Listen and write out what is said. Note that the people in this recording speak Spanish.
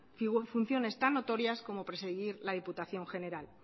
funciones tan notorias como presidir la diputación general